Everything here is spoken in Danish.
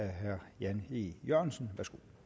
herre jan e jørgensen